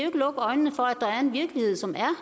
ikke lukke øjnene for at der er en virkelighed som er